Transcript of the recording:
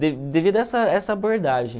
de devido a essa essa abordagem.